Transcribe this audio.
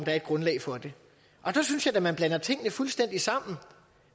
er et grundlag for det og der synes jeg da man blander tingene fuldstændig sammen